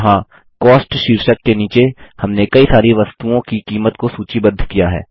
यहाँ कॉस्ट शीर्षक के नीचे हमने कई सारी वस्तुओं की कीमत को सूचीबद्ध किया है